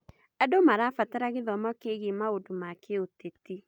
Andũ marabatara gĩthomo kĩgiĩ maũndũ ma kĩũteti.